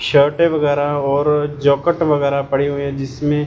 शर्टे वगैराह और जोकेट वगैराह पड़ी हुईं हैं जिसमें--